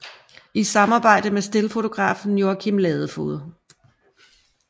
I samarbejde med stillfotografen Joachim Ladefoged